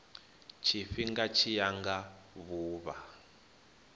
tshifhinga tshi ya nga vhuvha